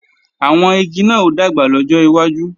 Àwọn igi náà ó dàgbà lọ́jọ́ iwájú